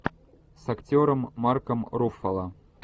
с актером марком руффало